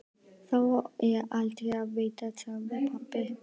Þó er aldrei að vita, sagði pabbi.